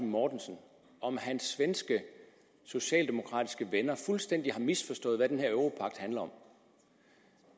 mortensen om hans svenske socialdemokratiske venner fuldstændig misforstået hvad den her europagt handler om